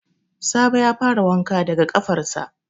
Sabo ya fara wanka daga ƙafarsa